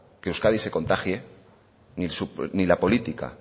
que euskadi se contagie ni la política